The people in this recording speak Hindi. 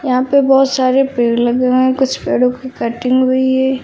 यहां पे बहुत सारे पेड़ लगे हैं कुछ पेड़ों की कटिंग हुई है।